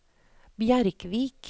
Bjerkvik